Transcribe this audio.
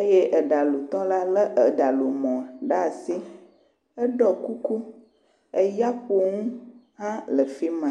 eye eɖalutɔ la lé eɖalumɔ ɖe asi, eɖɔ kuku, eyaƒonu hã le afi ma